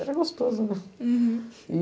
Era gostoso, né? Uhum. E